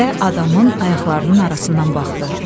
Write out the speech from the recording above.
Və adamın ayaqlarının arasından baxdı.